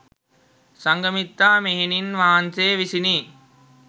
සංඝමිත්තා මෙහෙණින් වහන්සේ විසිනි.